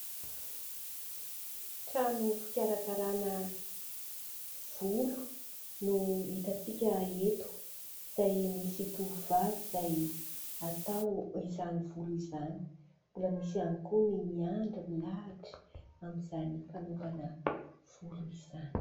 Trano fikarakarana volo no itantsika eto, izay misy tovovavy izay atao izany volo izany. Mbola misy ihany koa ny miandry milahatra amin'izany fanaovana volo izany.